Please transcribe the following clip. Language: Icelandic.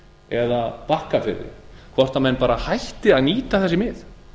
eða bakkafirði hvort menn hætti að nýta þessi mið